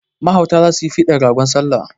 Mahauta za su yi fidan ragon bikin salla.